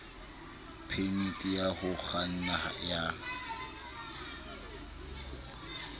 phemiti ya ho kganna ya